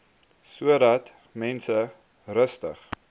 sodat mense rustig